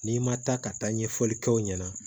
N'i ma taa ka taa ɲɛfɔli kɛ aw ɲɛna